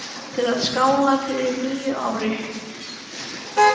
Til að skála í fyrir nýju ári.